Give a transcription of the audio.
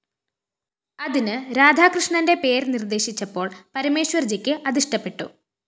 അതിന് രാധാകൃഷ്ണന്റെ പേര്‍ നിര്‍ദ്ദേശിച്ചപ്പോള്‍ പരമേശ്വര്‍ജിക്ക് അതിഷ്ടപ്പെട്ടു